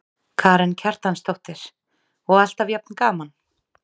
Karen Kjartansdóttir: Og alltaf jafn gaman?